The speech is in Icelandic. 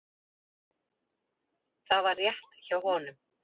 Það var rétt hjá honum.